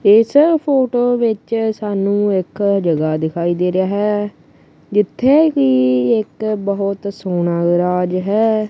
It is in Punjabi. ਇਸ ਫੋਟੋ ਵਿੱਚ ਸਾਨੂੰ ਇੱਕ ਜਗਾ ਦਿਖਾਈ ਦੇ ਰਹੀ ਹੈ ਜਿੱਥੇ ਕਿ ਇੱਕ ਬਹੁਤ ਸੋਹਣਾ ਰਾਜ ਹੈ।